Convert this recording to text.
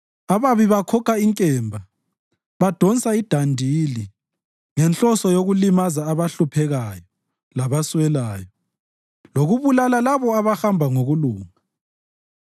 Ababi bakhokha inkemba, badonsa idandili ngenhloso yokulimaza abahluphekayo labaswelayo, lokubulala labo abahamba ngokulunga.